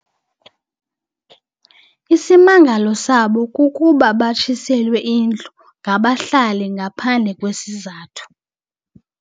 Isimangalo sabo kukuba batshiselwe indlu ngabahlali ngaphandle kwesizathu.